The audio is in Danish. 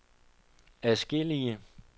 adskillige